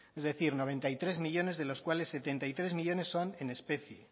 es decir noventa y tres millónes de los cuáles setenta y tres millónes son en especie